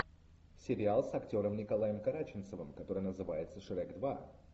сериал с актером николаем караченцовым который называется шрек два